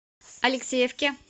алексеевке